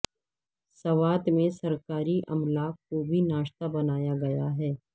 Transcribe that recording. سوات میں سرکاری املاک کو بھی نشانہ بنایا گیا ہے